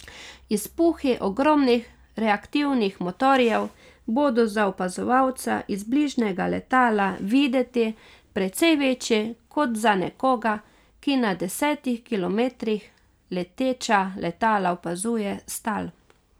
Izpuhi ogromnih reaktivnih motorjev bodo za opazovalca iz bližnjega letala videti precej večji kot za nekoga, ki na desetih kilometrih leteča letala opazuje s tal.